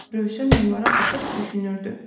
Rövşən onlara baxıb düşünürdü.